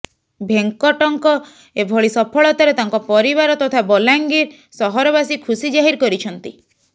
ଭେଙ୍କଟଙ୍କ ଏଭଳି ସଫଳତାରେ ତାଙ୍କ ପରିବାର ତଥା ବଲାଙ୍ଗିର ସହରବାସୀ ଖୁସି ଜାହିର କରିଛନ୍ତି